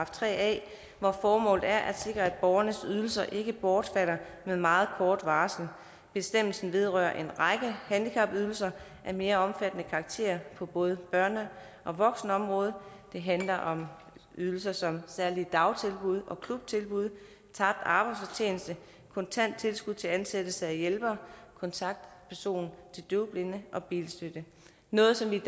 tre a hvor formålet er at sikre at borgernes ydelser ikke bortfalder med meget kort varsel bestemmelsen vedrører en række handicapydelser af mere omfattende karakter på både børne og voksenområdet det handler om ydelser som særlige dagtilbud og klubtilbud tabt arbejdsfortjeneste kontant tilskud til ansættelse af hjælpere kontaktperson til døvblinde og bilstøtte noget som vi